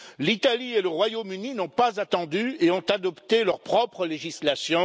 L'Italie et le Royaume Uni n'ont pas attendu et ont adopté leur propre législation.